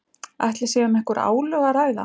Ætli sé um einhver álög að ræða?